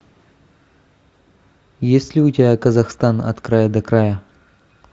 есть ли у тебя казахстан от края до края